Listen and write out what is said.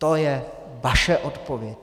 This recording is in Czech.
To je vaše odpověď.